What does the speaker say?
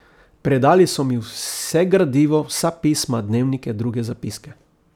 Predali so mi vse gradivo, vsa pisma, dnevnike, druge zapiske.